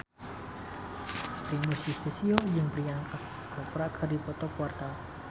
Primus Yustisio jeung Priyanka Chopra keur dipoto ku wartawan